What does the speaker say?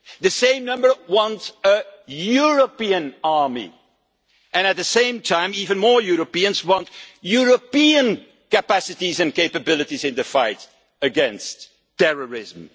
The same number want a European army and, at the same time, even more Europeans want European capacities and capabilities in the fight against terrorism.